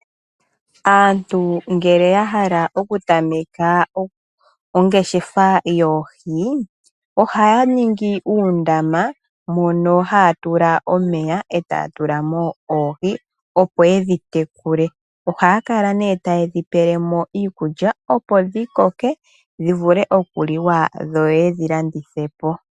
Aantu ngele yahala okutameka ongeshefa yoohi ohaya ningi uundama mono haatula omeya etaya tulamo oohi opo yedhitekule, ohaya kala nee taye dhipele mo iikulya opo dhikoke dhivule okuliwa dho yedhi landithe po.